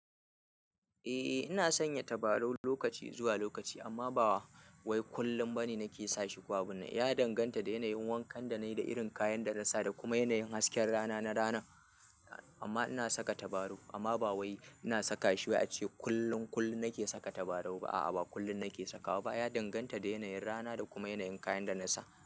Eh ina sanya tabarau lokaci zuwa lokaci amma ba wai kullum bane nake sashi. Ko abin nan ya danganta da yanayin wankan da na yi da irin kayan da na sa da kuma yanayin hasken rana na rana. Amma ina saka tabarau amma ba wai ina saka shi wai ce kullum, kullum nake saka tabarau ba. A'a, ba kullum nake sakawa ba. Ya danganta da yanayin rana da kuma yanayin kayan da na sa.